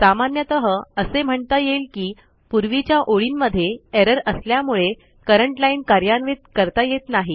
सामान्यतः असे म्हणता येईल की पूर्वीच्या ओळींमध्ये एरर असल्यामुळे करंट लाईन कार्यान्वित करता येत नाही